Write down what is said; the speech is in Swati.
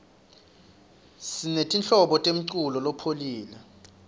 simemltlobo yemlulo lopholile